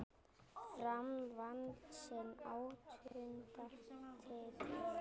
Fram vann sinn áttunda titil.